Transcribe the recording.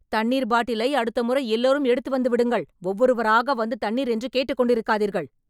தண்ணீர் பாட்டிலை அடுத்த முறை எல்லோரும் எடுத்து வந்து விடுங்கள் ஒவ்வொருவராக வந்து தண்ணீர் என்று கேட்டுக் கொண்டிருக்காதீர்கள்